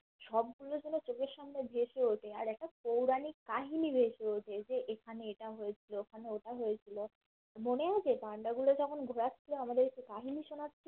সব গুলো যেন চোখের সামনে ভেসে ওঠে আর একটা পৌরাণিক কাহিনী রয়েছে যে যে এখানে এটা হয়েছিল ওখানে ওটা হয়েছিল মানে আছে পান্ডা গুলো তখন ঘোরাচ্ছিলো আমাদেরকে কাহিনী শোনাচ্ছিলো